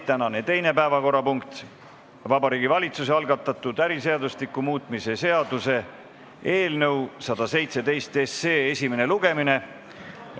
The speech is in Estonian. Tänane teine päevakorrapunkt on Vabariigi Valitsuse algatatud äriseadustiku muutmise seaduse eelnõu 117 esimene lugemine.